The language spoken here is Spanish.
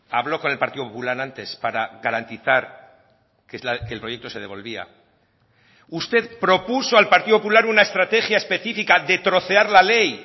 habló con el partido popular antes para garantizar que el proyecto se devolvía usted propuso al partido popular una estrategia específica de trocear la ley